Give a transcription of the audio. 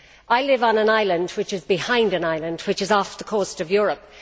I live on an island which is behind an island which is off the coast of Europe.